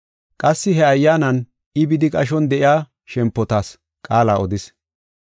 Qassi he ayyaanan I bidi qashon de7iya shempotas qaala odis.